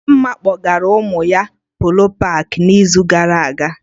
Dịmma kpọgara ụmụ ya Polo paakị n'izu gara aga